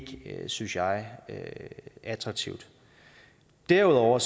synes jeg attraktivt derudover